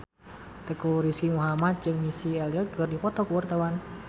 Teuku Rizky Muhammad jeung Missy Elliott keur dipoto ku wartawan